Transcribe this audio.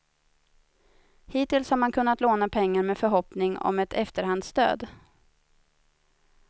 Hittills har man kunnat låna pengar med förhoppning om ett efterhandsstöd.